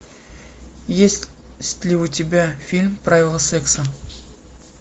есть ли у тебя фильм правила секса